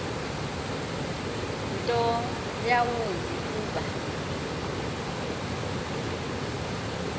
nto yawumbi kuba